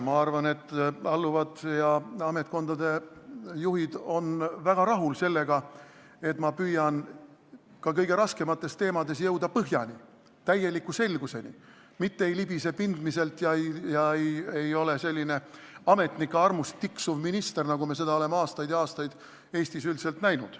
Ma arvan, et alluvad ja ametkondade juhid on väga rahul sellega, et ma püüan ka kõige raskemates teemades jõuda põhjani, täieliku selguseni, mitte ei libise pindmiselt ega ole selline ametnike armust tiksuv minister, nagu me oleme aastaid ja aastaid Eestis üldiselt näinud.